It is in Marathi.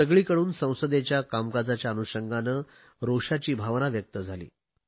सगळीकडून संसदेच्या कामकाजाच्या अनुषंगाने रोषाची भावना व्यक्त झाली